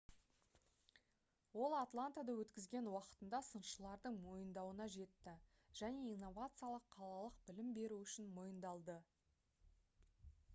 ол атлантада өткізген уақытында сыншылардың мойындауына жетті және инновациялық қалалық білім беру үшін мойындалды